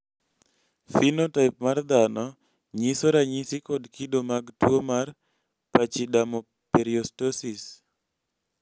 phenotype mar dhano nyiso ranyisi kod kido mag tuwo mar pachydermoperiostosis